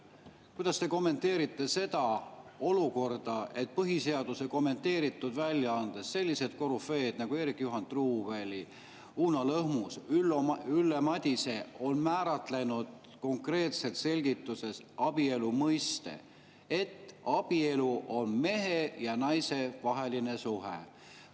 Kuidas te kommenteerite seda olukorda, et põhiseaduse kommenteeritud väljaandes sellised korüfeed nagu Eerik-Juhan Truuväli, Uno Lõhmus ja Ülle Madise on määratlenud konkreetselt selgituses abielu mõiste nii, et abielu on mehe ja naise vaheline suhe?